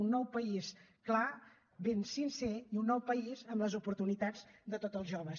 un nou país clar ben sincer i un nou país amb les oportunitats de tots els joves